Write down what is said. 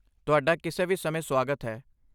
ਤੁਹਾਡਾ ਕਿਸੇ ਵੀ ਸਮੇਂ ਸੁਆਗਤ ਹੈ!